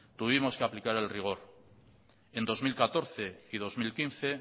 tuvimos que aplicar el rigor en dos mil catorce y dos mil quince